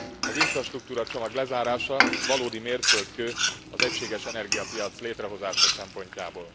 Az infrastruktúra csomag lezárása valódi mérföldkő az egységes energiapiac létrehozása szempontjából.